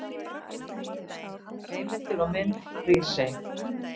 Heimildir og mynd Hrísey.